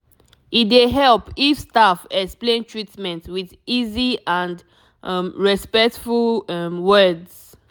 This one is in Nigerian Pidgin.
e dey help if staff explain treatment with easy and um respectful um words